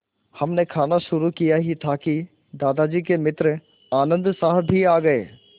हमने खाना शुरू किया ही था कि दादाजी के मित्र आनन्द साहब भी आ गए